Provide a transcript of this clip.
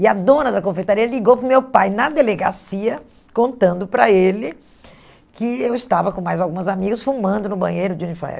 E a dona da confeitaria ligou para o meu pai na delegacia, contando para ele que eu estava com mais algumas amigas fumando no banheiro de uniforme.